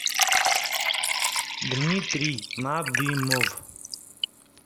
дмитрий надымов